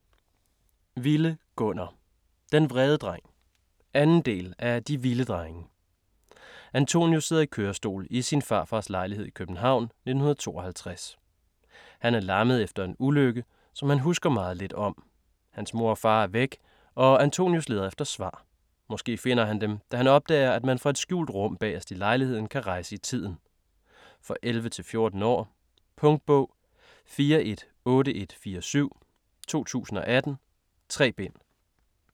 Wille, Gunnar: Den vrede dreng 2. del af De Wille drenge. Antonius sidder i kørestol i sin farfars lejlighed i København, 1952. Han er lammet efter en ulykke, som han husker meget lidt om. Hans mor og far er væk, og Antonius leder efter svar. Måske finder han dem da han opdager at man fra et skjult rum bagerst i lejligheden kan rejse i tiden. For 11-14 år. Punktbog 418147 2018. 3 bind.